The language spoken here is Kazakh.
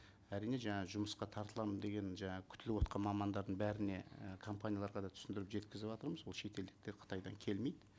әрине жаңа жұмысқа тартыламын деген жаңа күтіліп отырған мамандардың бәріне і компанияларға да түсіндіріп жеткізіватырмыз ол шетелдіктер қытайдан келмейді